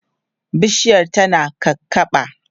bishiyar tana kakaɓa